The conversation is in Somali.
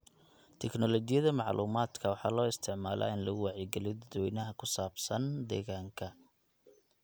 Tignoolajiyada macluumaadka waxaa loo isticmaalaa in lagu wacyigeliyo dadweynaha ku saabsan deegaanka.